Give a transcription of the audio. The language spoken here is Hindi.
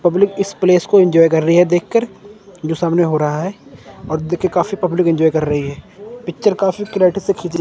पब्लिक इस प्लेस को एंजॉय कर रही देखकर जो सामने हो रहा है और देख के काफी पब्लिक एंजॉय कर रही है पिक्चर काफी क्लेरिटी से खींची--